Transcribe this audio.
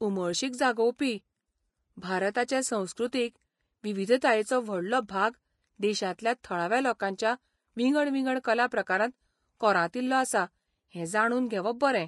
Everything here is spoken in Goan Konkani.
उमळशीक जागोवपी! भारताचे संस्कृतीक विविधतायेचो व्हडलो भाग देशांतल्या थळाव्या लोकांच्या विंगड विंगड कलाप्रकारांत कोरांतिल्लो आसा हें जाणून घेवप बरें.